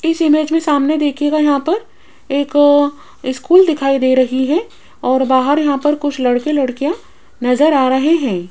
इस इमेज मे सामने देखियेगा यहाँ पर एक स्कूल दिखाई दे रही है और बाहर यहां पर कुछ लड़के लड़कियां नजर आ रहे हैं।